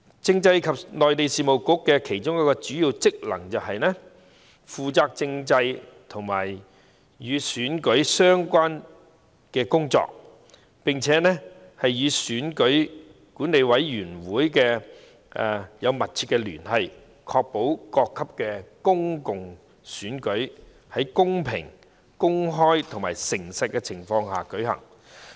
政制及內地事務局的其中一項主要職能，是負責政制和與選舉安排有關的工作，並與選舉管理委員會緊密聯繫，確保各級公共選舉在公平、公開和誠實的情況下舉行。